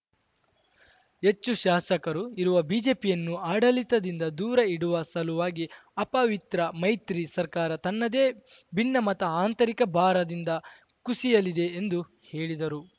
ಹೆಚ್ಚು ಶಾಸಕರು ಇರುವ ಬಿಜೆಪಿಯನ್ನು ಆಡಳಿತದಿಂದ ದೂರ ಇಡುವ ಸಲುವಾಗಿ ಅಪವಿತ್ರ ಮೈತ್ರಿ ಸರ್ಕಾರ ತನ್ನದೇ ಭಿನ್ನಮತ ಆಂತರಿಕ ಭಾರದಿಂದ ಕುಸಿಯಲಿದೆ ಎಂದು ಹೇಳಿದರು